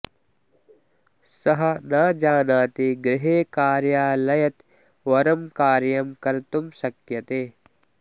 सः न जानाति गृहे कार्यालयत् वरं कार्यं कर्तुं शक्यते